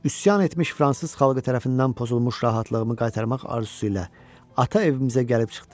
Üsyan etmiş fransız xalqı tərəfindən pozulmuş rahatlığımı qaytarmaq arzusu ilə ata evimizə gəlib çıxdıq.